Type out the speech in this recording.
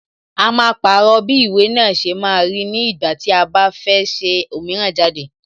A máa pàrọ̀ bí ìwé náà ṣe máa rí ní ìgbà tí a bá fẹ́ ṣe òmíràn jáde.